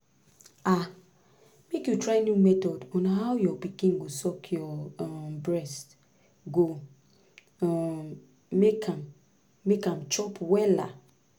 ah make you try new method on how your pikin go suck your um breast go um make am make am chop wella